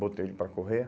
Botei ele para correr.